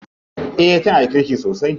Eh tana da kirki sosai.